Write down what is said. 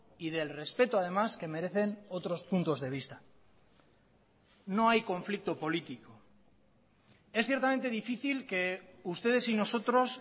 y del respeto además que merecen otros puntos de vista no hay conflicto político es ciertamente difícil que ustedes y nosotros